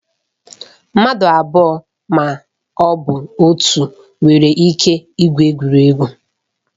Mmadụ abụọ ma ọ bụ atọ nwere ike igwu egwuregwu.